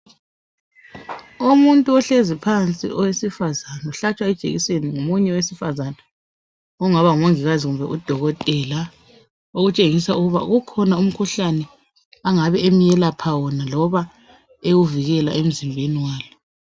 Umuntu ohlezi phansi owesifazana ohlatshwa ijekiseni ngomunye wesifazana ongaba ngumongikazi kumbe udokotela okutshengisa ukuba ukhona umkhuhlane angabe emyelapha wona noma ewuvikela emzimbeni walo.